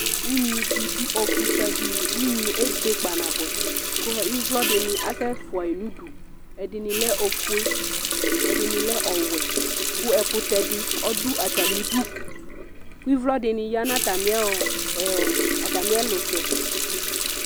Ʊnŋɩɗɩ ɔɗʊ ɔfʊaɗɩlɩ ʊnŋɩƴɛ eɓe ƙpa ƙʊ ɩʋlʊɔɗɩnɩ asɛfʊaƴɩnʊ ʊɗʊ ɛɗɩnɩlɛ ofʊe ɛɗɩnɩlɛ ɔwɛ ƙʊ ɛƙʊtɛɗɩ ɗʊ atamɩɗʊ ƙʊ ɩʋlɔ ɛɗɩnɩ aƴanʊ atamɩ ɛlʊtɛ